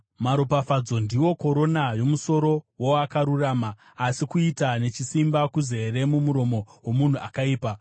Maropafadzo ndiwo korona yomusoro woakarurama, asi kuita nechisimba kuzere mumuromo womunhu akaipa.